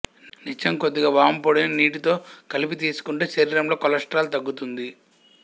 నిత్యం కొద్దిగా వాముపొడిని నీటితో కలిపి తీసుకుంటే శరీరంలో కొలెస్ట్రాల్ తగ్గుతుంది